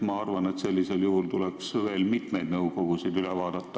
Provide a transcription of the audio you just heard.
Ma arvan, et sellisel juhul tuleks veel mitmed nõukogud üle vaadata.